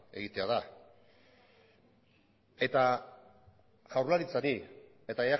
egitea da eta jaurlaritzari eta